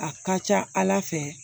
A ka ca ala fɛ